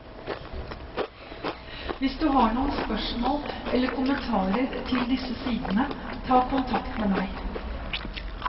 Hvis du har noen spørmål eller kommentarer til disse sidene, ta kontakt med meg.